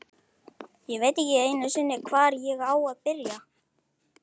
Ég veit ekki einu sinni, hvar ég á að byrja.